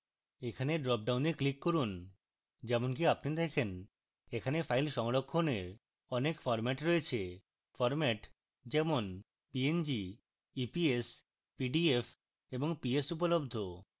এখানে dropdown click করুন যেমনকি আপনি দেখেন এখানে file সংরক্ষণের অনেক formats রয়েছে formats যেমন png eps pdf এবং ps উপলব্ধ